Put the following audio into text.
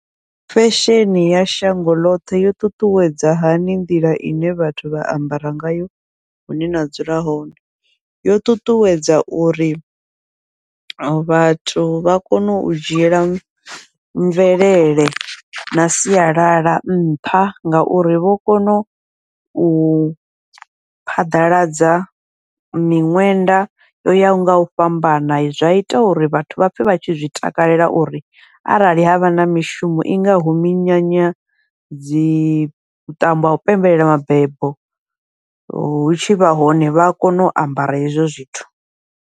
Fesheni ya shango ḽoṱhe yo ṱuṱuwedza hani nḓila ine vhathu vha ambara ngayo hune na dzula hone, yo ṱuṱuwedza uri vhathu vha kone u dzhiela mvelele na sialala nṱha ngauri vho kona u phaḓaladza miṅwenda yo yaho ngau fhambana, zwa ita uri vhathu vha pfhe vha tshi zwi takalela uri arali havha na mishumo i ngaho minyanya dzi vhuṱambo hau pembelela mabebo, hu tshivha hone vha a kona u ambara hezwo zwithu.